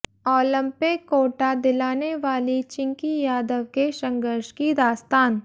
Olympic quota दिलाने वाली चिंकी यादव के संघर्ष की दास्तान